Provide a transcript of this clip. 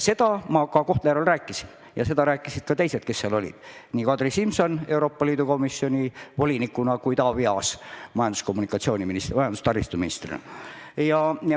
Seda ma ka Kohtla-Järvel rääkisin ja seda rääkisid ka teised, kes seal olid: nii Kadri Simson Euroopa Komisjoni volinikuna kui ka Taavi Aas majandus- ja taristuministrina.